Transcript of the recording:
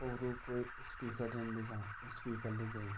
और वु क्वे स्पीकर जन दिख्यां स्पीकर लेगैइ।